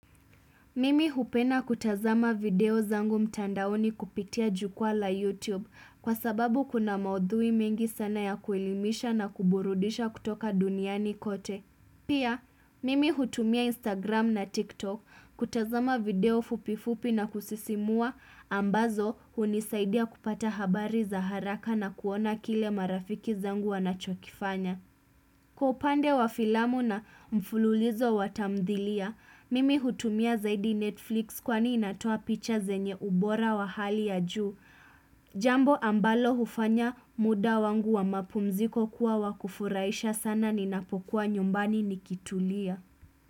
Mimi hupeda kutazama video zangu mtandaoni kupitia jukwa la YouTube kwa sababu kuna maudhui mengi sana ya kuelimisha na kuburudisha kutoka duniani kote. Pia, mimi hutumia Instagram na TikTok kutazama video fupifupi na kusisimua ambazo hunisaidia kupata habari za haraka na kuona kile marafiki zangu wanachokifanya. Kwaupande wa filamu na mfululizo watamdhilia, mimi hutumia zaidi Netflix kwani inatoa picha zenye ubora wa hali ya juu. Jambo ambalo hufanya muda wangu wa mapumziko kuwa wakufurahisha sana ni napokuwa nyumbani nikitulia.